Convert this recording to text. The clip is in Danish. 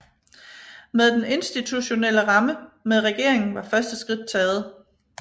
Med den institutionelle ramme med regeringen var første skridt taget